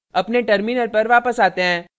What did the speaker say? अपने terminal पर वापस आते हैं